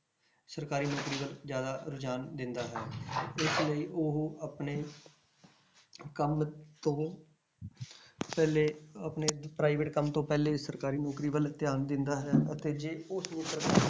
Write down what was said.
ਸਰਕਾਰੀ ਨੌਕਰੀ ਵੱਲ ਜ਼ਿਆਦਾ ਰੁਝਾਨ ਦਿੰਦਾ ਹੈ ਇਸ ਲਈ ਉਹ ਆਪਣੇ ਕੰਮ ਤੋਂ ਪਹਿਲੇ ਆਪਣੇ private ਕੰਮ ਤੋਂ ਪਹਿਲੇ ਸਰਕਾਰੀ ਨੌਕਰੀ ਵੱਲ ਧਿਆਨ ਦਿੰਦਾ ਹੈ ਅਤੇ ਜੇ ਉਸਨੂੰ